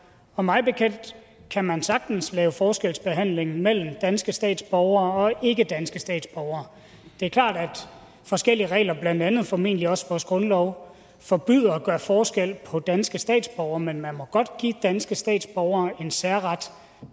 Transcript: og mig bekendt kan man sagtens lave forskelsbehandling mellem danske statsborgere og ikkedanske statsborgere det er klart at forskellige regler blandt andet formentlig også vores grundlov forbyder at gøre forskel på danske statsborgere men man må godt give danske statsborgere en særret